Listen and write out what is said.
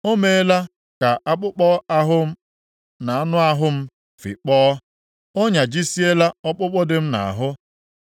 O meela ka akpụkpọ ahụ na anụ ahụ m fịkpọọ, ọ nyajisiela ọkpụkpụ di m nʼahụ.